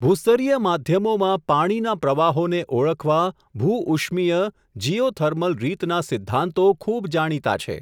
ભૂસ્તરીય માધ્યમોમાં પાણીના પ્રવાહોને ઓળખવા ભૂ ઉષ્મીય, જીઓથર્મલ રીતના સિદ્ધાંતો ખૂબ જાણીતા છે.